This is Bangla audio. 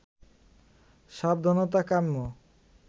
সাবধানতা কাম্য